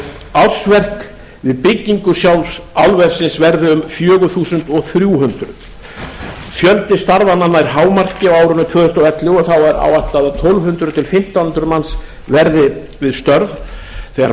ársverk við byggingu álversins verði um fjögur þúsund þrjú hundruð fjöldi starfa nær hámarki á árinu tvö þúsund og ellefu og verða þá tólf hundruð til fimmtán hundruð manns við störf þegar